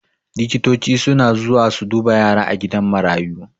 Likitoci suna zuwa su duba yara a gidan marayu